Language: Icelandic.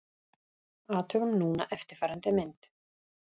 Athugum núna eftirfarandi mynd: